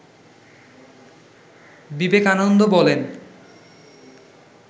বিবেকানন্দ বলেন